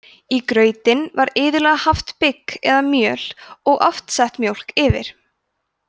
í grautinn var iðulega haft bygg eða mjöl og oft sett mjólk yfir